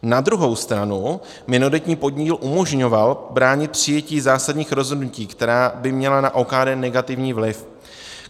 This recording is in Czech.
Na druhou stranu minoritní podíl umožňoval bránit přijetí zásadních rozhodnutí, která by měla na OKD negativní vliv.